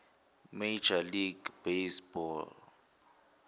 major league baseball